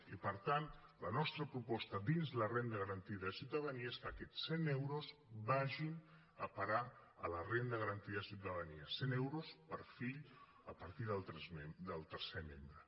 i per tant la nostra proposta dins la renda garantida de ciutadania és que aquests cent euros vagin a parar a la renda garantida de ciutadania cent euros per fill a partir del tercer membre